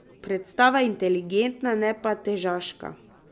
Predstava je inteligentna, ne pa težaška.